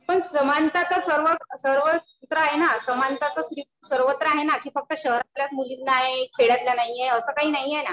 पण समानता तर सर्व सर्व क्षेत्रात आहे ना समानता तर सर्वत्र आहे ना कि फक्त शहरातल्या मुलींना आहे खेड्यातील मुलींना नाहीये असं काही नाहीयं ना